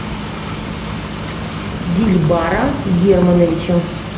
дильбара германовича